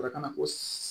ko